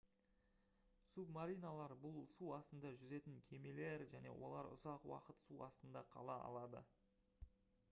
субмариналар бұл су астында жүзетін кемелер және олар ұзақ уақыт су астында қала алады